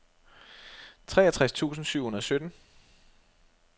treogtres tusind syv hundrede og sytten